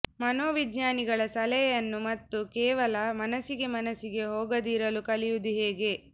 ಮನೋವಿಜ್ಞಾನಿಗಳ ಸಲಹೆಯನ್ನು ಮತ್ತು ಕೇವಲ ಮನಸ್ಸಿಗೆ ಮನಸ್ಸಿಗೆ ಹೋಗದಿರಲು ಕಲಿಯುವುದು ಹೇಗೆ